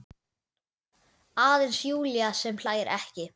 Aðeins Júlía sem hlær ekki.